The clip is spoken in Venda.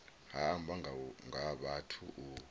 ha amba nga vhathu u